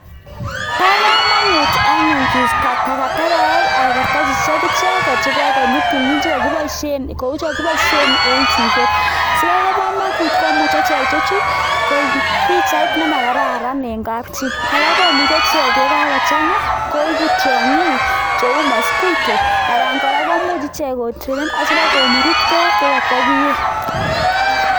Bo kamanut anyun kiisto takatakek ana kartasishek ichekek che kokonyi tumin cho kiboishe cheu chekiboishe eng chiket. Si kobo kamanut ko muchei ichek che chu koib pichait ne makararan eng kapchi kora komuchi ichek ye kakochanga koibu tionkik cheu mosquito anan kora komuch ichek kotrainen asi koburuch beek che katokieei.